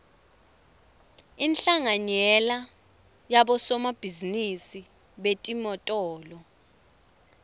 inhlanganyela yabosomabhizinisi betimotolo